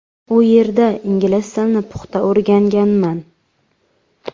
U yerda ingliz tilini puxta o‘rganganman.